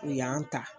U y'an ta